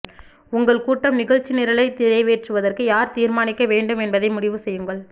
உங்கள் கூட்டம் நிகழ்ச்சிநிரலை நிறைவேற்றுவதற்கு யார் தீர்மானிக்க வேண்டும் என்பதை முடிவு செய்யுங்கள்